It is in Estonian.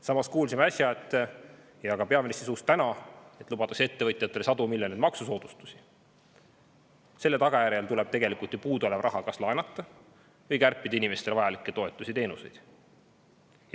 Samas kuulsime äsja – ka täna peaministri suust –, et kui me lubame ettevõtjatele sadu miljoneid maksusoodustusi, siis tuleb puuduolev raha kas laenata või kärpida inimestele vajalikke toetusi ja teenuseid.